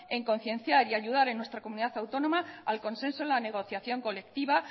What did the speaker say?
en concienciar y ayudar en nuestra comunidad autónoma al consenso en la negociación colectiva